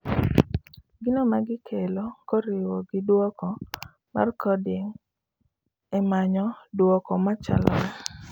Gino magikelo koriwi gi duoko mar coding e manyo duoko machalore